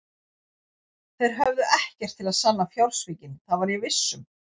Þeir höfðu ekkert til að sanna fjársvikin, það var ég viss um.